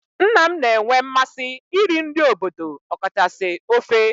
Nna m na-enwe mmasị iri nri obodo okachasị ofe